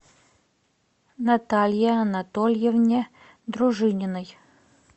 наталье анатольевне дружининой